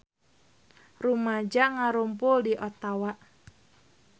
Rumaja ngarumpul di Ottawa